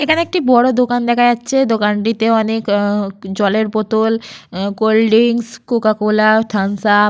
এখানে একটি বড় দোকান দেখা যাচ্ছে। দোকানটিতে অনেক আহ জলের বোতল cold drinks Coca Cola Thums Up.